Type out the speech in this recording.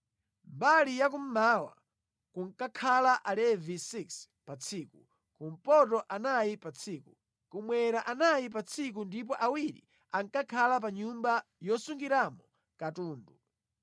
Mbali ya kummawa kunkakhala Alevi 6 pa tsiku, kumpoto anayi pa tsiku, kummwera anayi pa tsiku ndipo awiri ankakhala pa nyumba yosungiramo katundu.